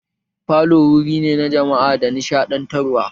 Falo wuri ne na jama'a da nishadantarwa